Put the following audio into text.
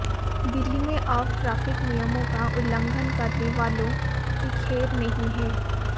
दिल्ली में अब ट्रैफिक नियमों का उल्लंघन करने वालों की खैर नहीं है